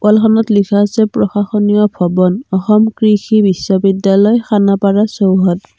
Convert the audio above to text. ৱালখনত লিখা আছে প্ৰশাসনীয় ভৱন অসম কৃষি বিশ্ববিদ্যালয় খানাপাৰা চৌহদ।